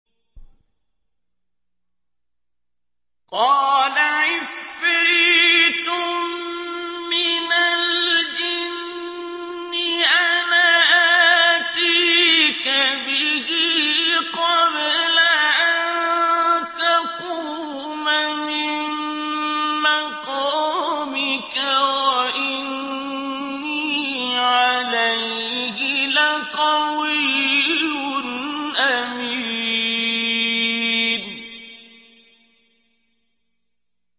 قَالَ عِفْرِيتٌ مِّنَ الْجِنِّ أَنَا آتِيكَ بِهِ قَبْلَ أَن تَقُومَ مِن مَّقَامِكَ ۖ وَإِنِّي عَلَيْهِ لَقَوِيٌّ أَمِينٌ